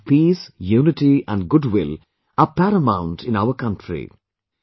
The values of peace, unity and goodwill are paramount in our country